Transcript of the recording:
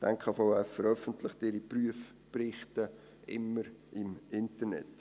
Die NKVF veröffentlicht ihre Prüfberichte immer im Internet.